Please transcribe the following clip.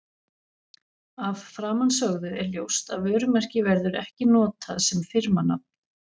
Af framansögðu er ljóst að vörumerki verður ekki notað sem firmanafn.